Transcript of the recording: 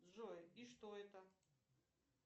джой и что это